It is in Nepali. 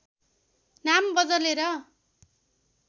नाम बदलेर